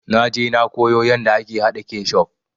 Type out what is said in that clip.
Naje na koyo yanda ake haɗa kecuf